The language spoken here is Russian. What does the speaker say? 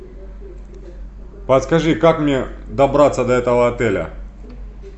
подскажи как мне добраться до этого отеля